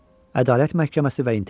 Ədalət məhkəməsi və intiqam.